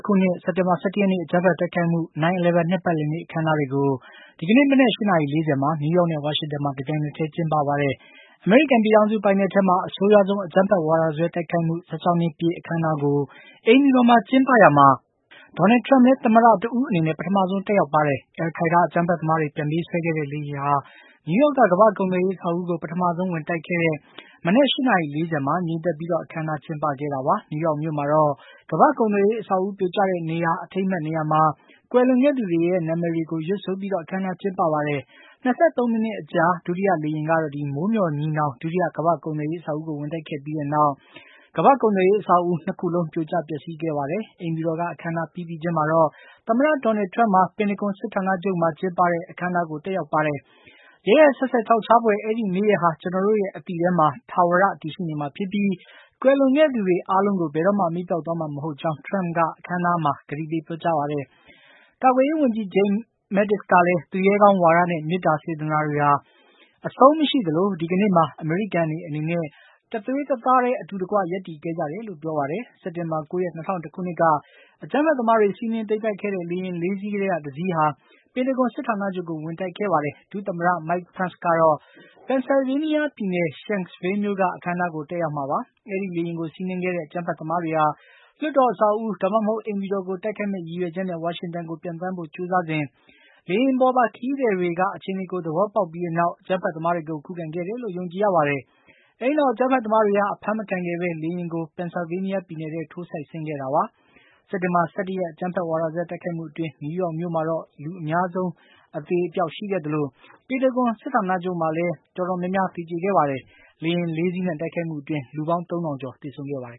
ခုနှစ် စက်တင်ဘာ ၁၁ ရက်နေ့ အကြမ်းဖက်တိုက်ခိုက်မှု 9-11 နှစ်ပတ်လည်နေ့ အခမ်းအနားတွေကို မနက် ၈ နာရီ ၄၀ မှာ နယူးယောက်နဲ့ ဝါရှင်တန်မှာ တပြိုင်တည်း ကျင်းပပါတယ်။ အမေရိကန်ပြည်ထောင်စုပိုင်နက်ထဲမှာ အဆိုးရွားဆုံး အကြမ်းဖက်ဝါဒစွဲ တိုက်ခိုက်မှု ၁၆ နှစ်ပြည့် အခမ်းအနားကို အိမ်ဖြူတော်မှာကျင်းပရာမှာ ဒေါ်နယ်ထရမ့်လည်း သမ္မတ တဦးအနေနဲ့ ပထမဆုံး တက်ရောက်ပါတယ်။ အယ်လ်ခိုင်းဒါး အကြမ်းဖက်သမားတွေ ပြန်ပေးဆွဲခဲ့တဲ့ လေယာဉ်ဟာ နယူးယောက်က ကမ္ဘာ့ကုန်သွယ်ရေး အဆောက်အဦးကို ပထမဆုံး ဝင်တိုက်ခဲ့တဲ့ မနက် ၈ နာရီ ၄၀ မှာ ငြိမ်သက်ပြီး အခမ်းအနားကျင်းပခဲ့တာပါ။ နယူးယောက်မြို့မှာတော့ ကမ္ဘာ့ကုန်သွယ်ရေး အဆောက်အဦး ပြိုကျရာတဲ့ အထိမ်းအမှတ် နေရာမှာ ကွယ်လွန်ခဲ့သူတွေရဲ့ နာမည်တွေကို ရွတ်ဆိုပြီး အခမ်းအနားကျင်းပပါတယ်။ ၂၃ မိနစ်အကြာ ဒုတိယ လေယာဉ်ကတော့ မိုးမျှော်ညီနောင် ဒုတိယ ကမ္ဘာ့ကုန်သွယ်ရေးအဆောက်အဦးကို ဝင်တိုက်ခဲ့ပြီးနောက် အဆောက်အဦး ၂ ခုလုံး ပြိုကျ ပျက်စီးခဲ့တာပါ။ အိမ်ဖြူတော်က အခမ်းအနားပြီးပြီးချင်းမှာပဲ သမ္မတ ထရမ့်ဟာ ပန်တဂွန် စစ်ဌာနချုပ်မှာ ကျင်းပတဲ့ အခမ်းအနာကို တက်ရောက်ပါတယ်။ "ရက်ရက်စက်စက် ခြောက်ခြားဖွယ် အဲဒီနေ့ရယ်ဟာ ကျနော်တို့ရဲ့ အသိထဲမှာ ထာဝရ တည်ရှိနေမှာဖြစ်ပြီး ကွယ်လွန်ခဲ့သူအားလုံးကို ဘယ်တော့မှ မေ့ပျောက်သွားမှာ မဟုတ်ကြောင်း "ထရမ့်က အခမ်းအနားတွင်း ကတိပေးပြောကြားပါတယ်။ ကာကွယ်ရေးဝန်ကြီး Jim Mattis ကလည်း သူရဲကောင်းဝါဒနဲ့ မေတ္တာစေတနာတွေဟာ အဆုံးမရှိသလို ဒီကနေ့မှာ အမေရိကန်တွေအနေနဲ့ တသွေးတသားတည်း အတူတကွ ရပ်တည်ခဲ့ကြတယ်လို့ ပြောပါတယ်။စက်တင်ဘာ ၉ ရက် ၂၀၀၁ ခုနှစ်က အကြမ်းဖက်သမားတွေ စီးနင်းသိမ်းပိုက်ခဲ့တဲ့ လေယာဉ် လေးစီးထဲက တစီးဟာ ပင်တဂွန် စစ်ဌာနချုပ်ကို ဝင်တိုက်ခဲ့ပါတယ်။ ဒု သမ္မတ Mike Pence ကတော့ Pennsylvania ပြည်နယ် Shanksville မြို့က အခမ်းအနားကို တက်ရောက်မှာပါ။ အဲဒီလေယာဉ်ကို စီးနင်းခဲ့တဲ့ အကြမ်းဖက်သမားတွေဟာ လွှတ်တော် အဆောက်အဦး ဒါမှမဟုတ် အိမ်ဖြူတော်ကို တိုက်ခိုက်မယ့် ရည်ရွယ်ချက်နဲ့ ဝါရှင်တန်ကို ပျံသန်းဖို့ကြိုးစားစဉ် လေယာဉ်ပေါ်ပါ ခရီးသည်တွေက အခြေအနေကို သဘောပေါက်ပြီးနောက် အကြမ်းဖက်သမားတွေကို ခုခံခဲ့တယ်လို့ ယုံကြည်ရပါတယ်။ အဲဒီနောက် အကြမ်းဖက်သမားတွေဟာ အဖမ်းမခံခဲ့ဘဲ လေယာဉ်ကို ပင်ဆယ်ဗေးနီးယားပြည်နယ်ထဲ ထိုးစိုက်ဆင်းခဲ့တာပါ။ စက်တင်ဘာ ၁၁ ရက် အကြမ်းဖက် ဝါဒစွဲ တိုက်ခိုက်မှုအတွင်း နယူးယောက်မြို့မှာ အများဆုံးသေဆုံးခဲ့သလို ပန်တဂွန်စစ်ဌာနချုပ်မှာလည်း အသေအပျောက် များခဲ့ပါတယ်။ လေယာဉ် ၄ စီးနဲ့ တိုက်ခိုက်မှုအတွင်း လူပေါင်း ၃၀၀၀ ကျော် သေဆုံးခဲ့ပါတယ်